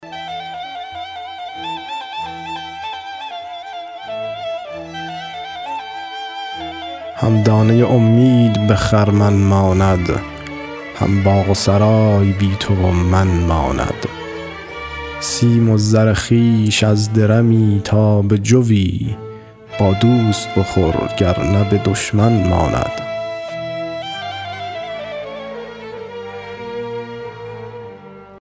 هم دانه امید به خرمن ماند هم باغ و سرای بی تو و من ماند سیم و زر خویش از درمی تا به جوی با دوست بخور گرنه به دشمن ماند